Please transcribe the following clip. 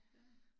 Ja